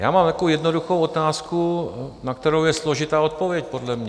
Já mám takovou jednoduchou otázku, na kterou je složitá odpověď podle mě.